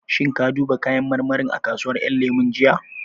Shin ka duba kayan marmarin a kasuwar ƴan lemu jiya?